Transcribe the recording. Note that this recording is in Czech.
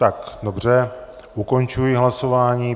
Tak dobře, ukončuji hlasování.